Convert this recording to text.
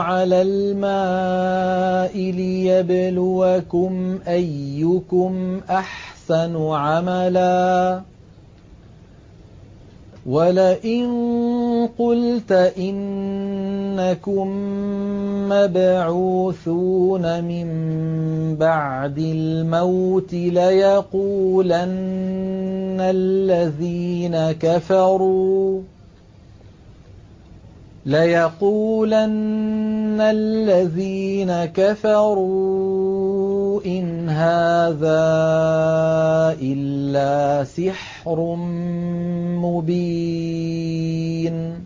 عَلَى الْمَاءِ لِيَبْلُوَكُمْ أَيُّكُمْ أَحْسَنُ عَمَلًا ۗ وَلَئِن قُلْتَ إِنَّكُم مَّبْعُوثُونَ مِن بَعْدِ الْمَوْتِ لَيَقُولَنَّ الَّذِينَ كَفَرُوا إِنْ هَٰذَا إِلَّا سِحْرٌ مُّبِينٌ